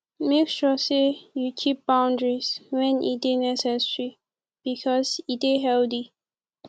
make sure say you keep boundaries when e de necessary because e de healthy